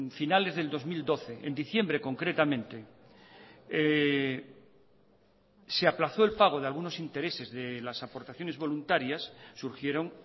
finales del dos mil doce en diciembre concretamente se aplazó el pago de algunos intereses de las aportaciones voluntarias surgieron